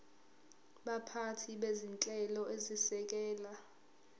baphathi bezinhlelo ezisekela